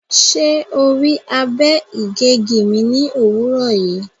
Ṣe o rii abe-igegi mi ni owurọ yii?